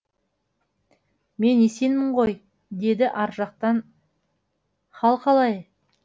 мен есенмін ғой деді ар жақтан хал қалай